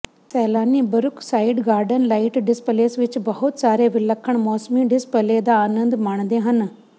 ਸੈਲਾਨੀ Brookside garden light displays ਵਿਚ ਬਹੁਤ ਸਾਰੇ ਵਿਲੱਖਣ ਮੌਸਮੀ ਡਿਸਪਲੇਅ ਦਾ ਆਨੰਦ ਮਾਣਦੇ ਹਨ